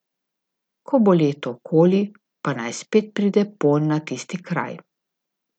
Ko bo leto okoli, pa naj spet pride ponj na tisti kraj.